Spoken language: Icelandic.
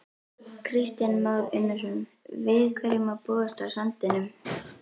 Kristján Már Unnarsson: Við hverju má búast á sandinum?